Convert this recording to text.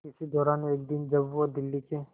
इसी दौरान एक दिन जब वो दिल्ली के